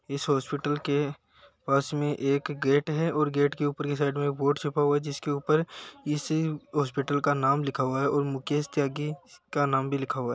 इस हॉस्पिटल के पास में एक गेट है और गेट के ऊपर की साइड में एक बोर्ड छपा हुआ है। जिसके ऊपर इस हॉस्पिटल का नाम लिखा हुआ है और मुकेश त्यागी का नाम भी लिखा हुआ है।